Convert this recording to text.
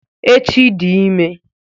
Echi di ime